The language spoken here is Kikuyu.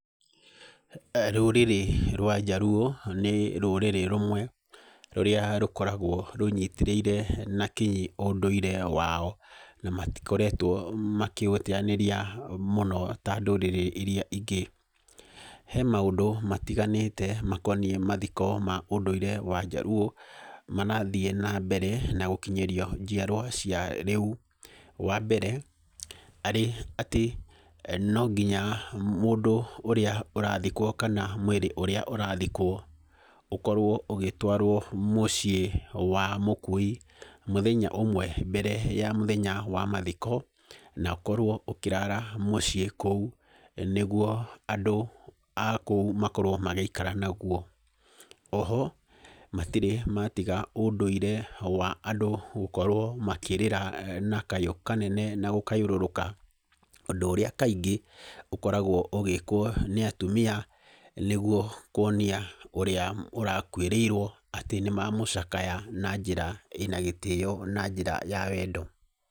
Rũrĩrĩ rwa Jaruo nĩ rũrĩrĩ rũmwe rũrĩa rũkoragwo rũnyitĩrĩire na kinyi ũndũire wao na matikoretwo makĩũteyanĩria mũno ta ndũrĩrĩ iria ingĩ. He maũndũ matiganĩte makoniĩ mathiko ma ũndũire wa jaruo marathiĩ na mbere na gũkinyĩrio njiarwa cia rĩu. Wambere arĩ atĩ no nginya mũndũ ũrĩa ũrathikwo kana mwĩrĩ wa ũrĩa ũrathikwo ũkorwo ũgĩtwarwo mũciĩ wa mũkui mũthenya ũmwe mbere ya mũthenya wa mathiko na ũkorwo ũkĩrara mũciĩ kũu nĩguo andũ akũu makorwo magĩikara naguo. Oho matirĩ matiga ũndũire wa andũ gũkorwo makĩrĩra na kayũ kanene na gũkayũrũrũka ũndũ ũrĩa kaingĩ ũkoragwo ũgĩkwo nĩ atumia nĩguo kuonia ũrĩa ũrakũĩrĩirwo atĩ nĩmamũcakaya na njĩra ĩna gĩtĩyo na njĩra ya wendo.